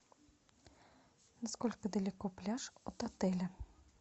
насколько далеко пляж от отеля